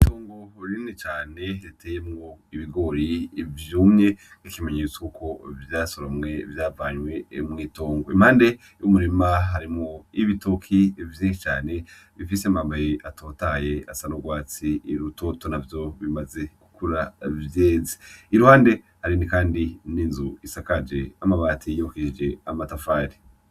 Itongo Rinini Cane Riteyemwo Ibigori Vyumye, N'Ikimenyetso Ko Vyasoromwe Vyavanwe Mw'Itongo. Impande Y'Umurima Harimwo Ibitoki Vyinshi Cane Bifise Amababi Atotahaye Asa N'Urwatsi Rutoto Navyo Bimaze Gukura Vyeze, Iruhande Hari Kandi Hariho N'Inzu Isakaje Amabati Yuhirije Amatafari.